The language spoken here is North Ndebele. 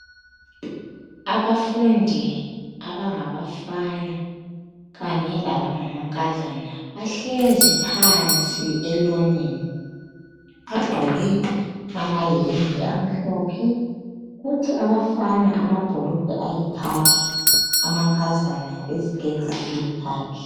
Abafundi abangabafana kunye labangangankazana bahlezi phansi elonini, bagqoke amayembe amhlophe, kuthi abafana amabhulugwe ayikhakhi amankazana iziketi eziyikhakhi.